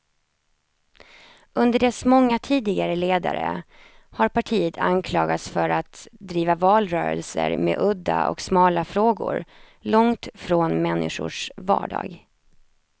Under dess många tidigare ledare har partiet anklagats för att driva valrörelser med udda och smala frågor, långt från människors vardag.